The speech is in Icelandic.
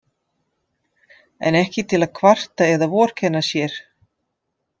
En ekki til að kvarta eða vorkenna sér.